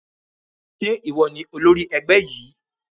Ṣé ìwọ ni olórí ẹgbẹ́ yìí?